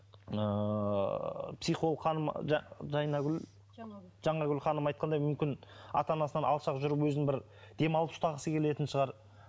ыыы психолог ханым жайнагүл жаңагүл жаңагүл ханым айтқандай мүмкін ата анасынан алшақ жүріп өзін бір демалып ұстағысы келетін шығар